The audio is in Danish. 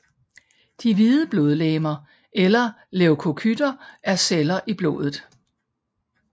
De hvide blodlegemer eller leukocytter er celler i blodet